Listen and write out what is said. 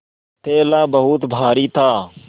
थैला बहुत भारी था